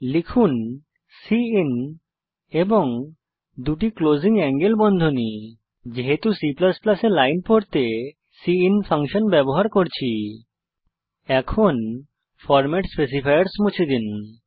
লিখুন সিআইএন এবং দুটি ক্লোজিং এঙ্গেল বন্ধনী যেহেতু C এ লাইন পড়তে সিআইএন ফাঙ্কশন ব্যবহার করছি এখন ফরম্যাট স্পেসিফায়ার্স মুছে দিন